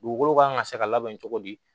Dugukolo kan ka se ka labɛn cogo di